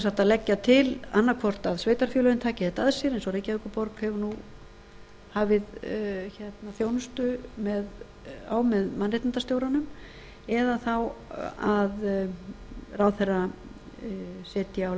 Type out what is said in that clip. að leggja til annað hvort að sveitarfélögin taki þetta að sér eins og reykjavíkurborg hefur hafið þjónustu á með mannréttindastjóranum eða þá að ráðherra setji á